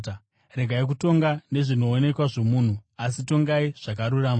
Regai kutonga nezvinoonekwa zvomunhu, asi tongai zvakarurama.”